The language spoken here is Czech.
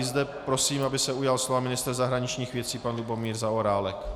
I zde prosím, aby se ujal slova ministr zahraničních věcí pan Lubomír Zaorálek.